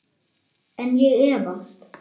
En ég efast.